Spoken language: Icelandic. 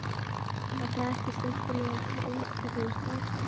Var það ekki skemmtileg reynsla fyrir strákana?